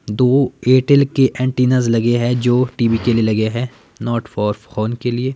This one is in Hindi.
दो एयरटेल के एंटीनास लगे हैं जो टी_वी के लिए लगे हैं नॉट फॉर फोन के लिए।